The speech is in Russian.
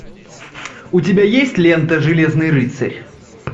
у тебя есть лента железный рыцарь